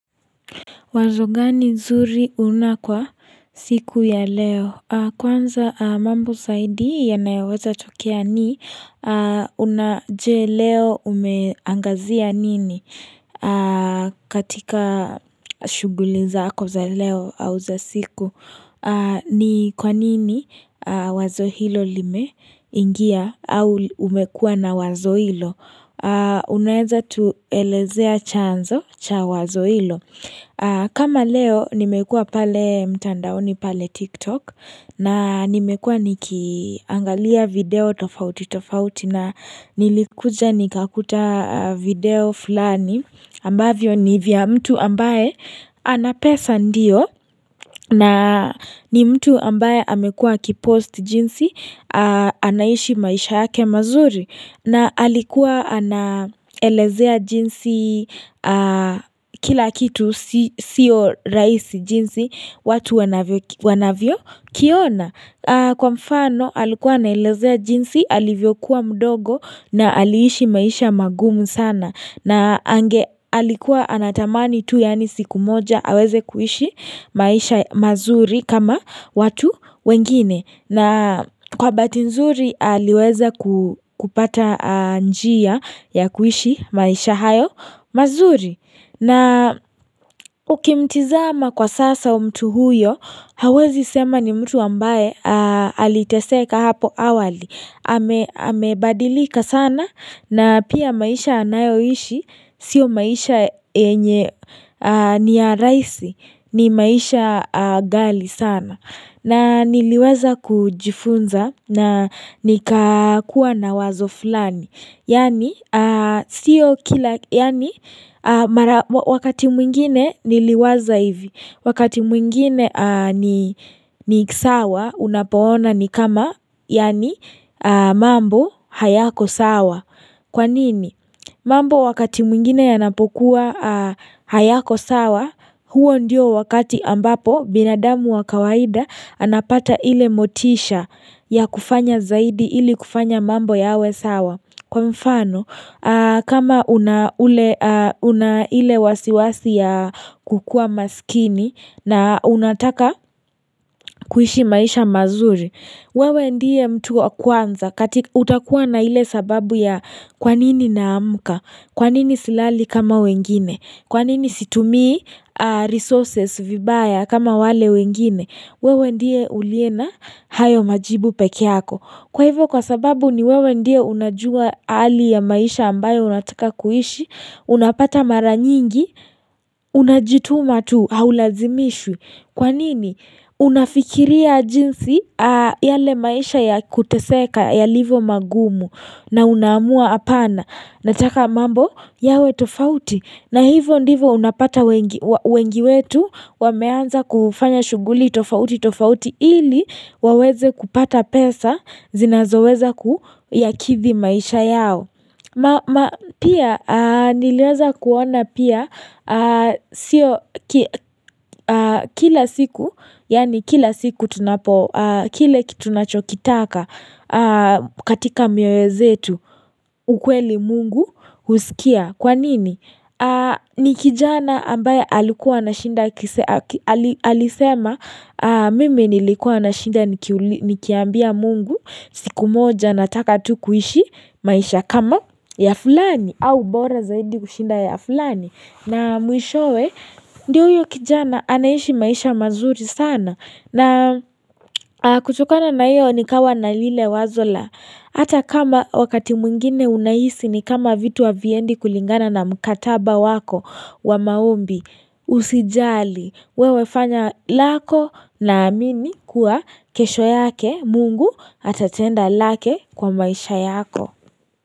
Wazo gani nzuri unakwa siku ya leo? Kwanza mambo zaidi ya naeweza tokea ni unajua leo umeangazia nini katika shuguli zaako za leo au za siku? Ni kwa nini wazo hilo limeingia au umekua na wazo hilo Unaeza tu elezea chanzo cha wazo hilo kama leo nimekua pale mtandaoni pale tiktok na nimekua nikiangalia video tofauti tofauti na nilikuja nikakuta video fulani ambavyo ni vya mtu ambaye anapesa ndio na ni mtu ambaye amekua ki post jinsi anaishi maisha yake mazuri na alikuwa anaelezea jinsi kila kitu siyo raisi jinsi watu wanavyo kiona. Kwa mfano alikuwa nailezea jinsi alivyokuwa mdogo na aliishi maisha magumu sana na ange alikuwa anatamani tu yani siku moja aweze kuishi maisha mazuri kama watu wengine na kwa baati nzuri aliweza kupata njia ya kuishi maisha hayo mazuri. Na ukimtizama kwa sasa mtu huyo, hawezi sema ni mtu ambaye aliteseka hapo awali. Amebadilika sana na pia maisha anayoishi, sio maisha enye niya rahisi, ni maisha gali sana. Na niliweza kujifunza na nikakua na wazo fulani. Yaani wakati mwingine niliwaza hivi. Wakati mwingine ni sawa unapoona ni kama mambo hayako sawa. Kwanini? Mambo wakati mwingine yanapokuwa hayako sawa. Huo ndio wakati ambapo binadamu wa kawaida anapata ile motisha ya kufanya zaidi ili kufanya mambo ya we sawa Kwa mfano kama una ile wasiwasi ya kukua maskini na unataka kuishi maisha mazuri wewe ndiye mtu wa kwanza, utakuwa na ile sababu ya kwa nini na amuka, kwa nini silali kama wengine, kwa nini situmi resources vibaya kama wale wengine, wewe ndiye uliena hayo majibu peke yako. Kwa hivyo kwa sababu ni wewe ndiye unajua ali ya maisha ambayo unataka kuhishi, unapata mara nyingi, unajituma tu, haulazimishu. Kwa nini? Unafikiria jinsi yale maisha ya kuteseka, ya livo magumu na unamua apana. Nataka mambo yawe tofauti na hivyo ndivyo unapata wengi wetu wameanza kufanya shughuli tofauti tofauti ili waweze kupata pesa zinazoweza kuyakithi maisha yao. Ma pia nileweza kuona pia sio kila siku yani kila siku tunapo kile kitu nachokitaka katika miwezetu ukweli mungu husikia kwa nini? Ni kijana ambaye alikuwa na shinda alisema mimi nilikuwa na shinda nikiambia mungu siku moja nataka tu kuishi maisha kama ya fulani au bora zaidi kushinda ya fulani na mwishowe ndiyo uyo kijana anaishi maisha mazuri sana na kuchokana na iyo ni kawa na lile wazola ata kama wakati mwingine unaisi ni kama vitu wa viendi kulingana na mkataba wako wa maumbi usijali wewefanya lako na amini kuwa kesho yake mungu atatenda lake kwa maisha yako.